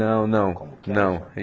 Não, não, não.